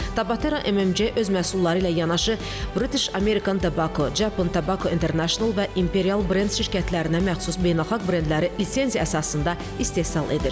Tabatera MMC öz məhsulları ilə yanaşı British American Tobacco, Japan Tobacco International və Imperial Brands şirkətlərinə məxsus beynəlxalq brendləri lisenziya əsasında istehsal edir.